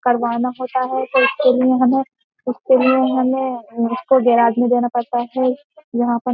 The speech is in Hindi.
करवाना होता है तो उसके लिए हमें उसके लिए हमें उसको गैराज में देना पड़ता है यहाँ पर --